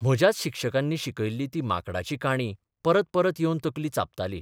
म्हज्याच शिक्षकांनी शिकयल्ली ती माकडाची काणी परत परत येवन तकली चाबताली.